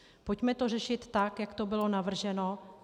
Pojďme to řešit tak, jak to bylo navrženo.